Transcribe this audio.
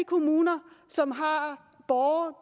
kommuner som har borgere